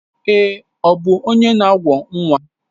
Èé, ọ bụ onye na awọ nwa.